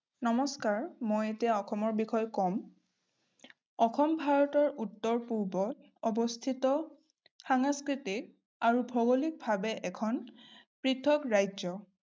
নমস্কাৰ, মই এতিয়া অসমৰ বিষয়ে কম। অসম ভাৰতৰ উত্তৰ-পূবত অৱস্থিত সাংস্কৃতিক আৰু ভৌগলিকভাৱে এখন পৃঠক ৰাজ্য।